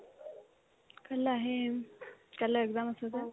কাইলে আহিম কাইলে exam আছে যে